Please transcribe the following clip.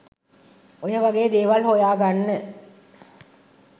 ඔය වගේ දේවල් හොයාගන්න.